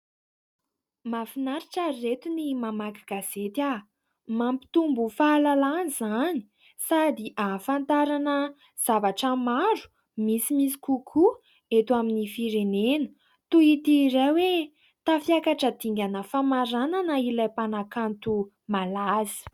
Mahafinaritra ry ireto ny mamaky gazety. Mampitombo fahalalana izany sady ahafantarana zavatra maro misimisy kokoa eto amin'ny firenena. Toy ity iray hoe : tafiakatra dingana famaranana ilay mpanakanto malaza.